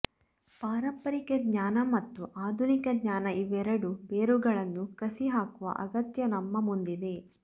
ಪಾರಂಪರಿಕ ಜ್ಞಾನ ಮತ್ತು ಆಧುನಿಕ ಜ್ಞಾನ ಇವೆರಡು ಬೇರುಗಳನ್ನು ಕಸಿ ಹಾಕುವ ಅಗತ್ಯ ನಮ್ಮ ಮುಂದಿದೆ